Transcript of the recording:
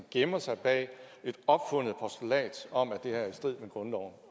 gemme sig bag et opfundet postulat om at det her er i strid med grundloven